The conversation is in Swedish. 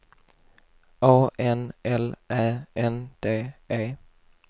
A N L Ä N D E